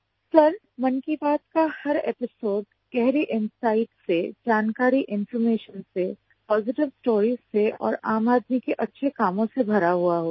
sir Mann Ki Baat का हर episode गहरी इनसाइट से जानकारी इन्फॉर्मेशन से पॉजिटिव स्टोरीज से और आम आदमी के अच्छे कामों से भरा हुआ होता है